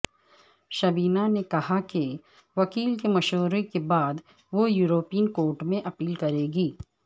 شبینہ نے کہا کہ وکیل کےمشورے کے بعد وہ یورپین کورٹ میں اپیل کریں گی